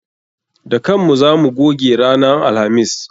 Da kan mu za mu goge ranan alhamis.